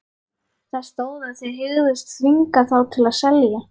Það stóð, að þið hygðust þvinga þá til að selja